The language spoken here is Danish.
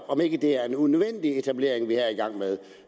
om ikke det er en unødvendig etablering vi her er i gang med